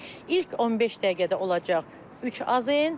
İlk 15 dəqiqədə olacaq 3 AZN.